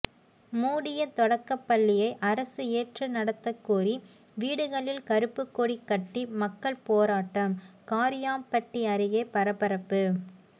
மூடிய தொடக்கப்பள்ளியை அரசு ஏற்று நடத்தக்கோரி வீடுகளில் கருப்புக்கொடி கட்டி மக்கள் போராட்டம் காரியாபட்டி அருகே பரபரப்பு